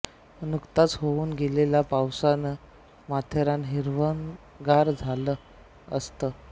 नुकताच होऊन गेलेल्या पावसानं माथेरान हिरवंगार झालेलं असतं